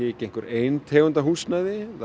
ekki einhver ein tegund af húsnæði